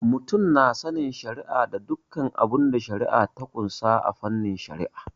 Mutum na sanin shari'a da dukkan abinda shari'a ta ƙunsa a fannin Shari'a.